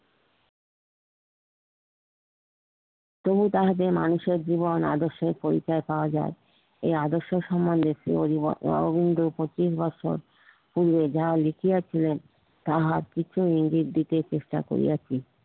তবু তাহাতে মানুষের জীবন আদর্শের পরিচই পাওয়া যাই এই আদর্শ সম্বন্ধে শ্রি অরবিন্দ পঁচিশ বছর যাহা লিখিয়েছিলেন তাহা কিছু ইঙ্গিত দিতে চেষ্টা করিয়াছি